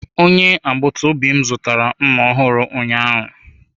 Onye agbata obi m zụtara mma ọhụrụ ụnyaahụ.